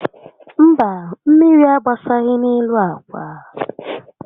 Mba, mmírí agbasaghị n'elu ákwá